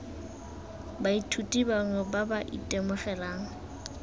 baithuti bangwe ba ba itemogelang